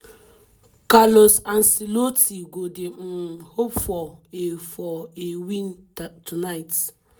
carlos ancellotti go dey um hope for a for a win tonight.